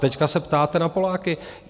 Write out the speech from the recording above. Teď se ptáte na Poláky.